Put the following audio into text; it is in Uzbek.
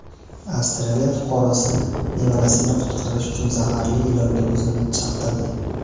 Avstraliya fuqarosi nevarasini qutqarish uchun zaharli ilonga o‘zini chaqtirdi.